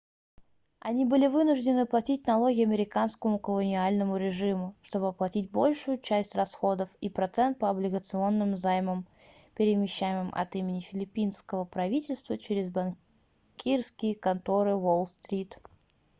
они были вынуждены платить налоги американскому колониальному режиму чтобы оплатить большую часть расходов и процент по облигационным займам перемещаемым от имени филиппинского правительства через банкирские конторы уолл-стрит